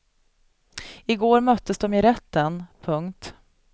I går möttes de i rätten. punkt